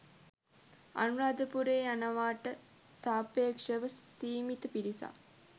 අනුරාධපුරේ යනවාට සාපේක්ෂව සීමිත පිරිසක්.